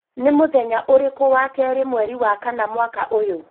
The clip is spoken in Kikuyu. Nĩ mũthenya ũrĩkũ wa keri mweri wa kana mwaka ũyũ?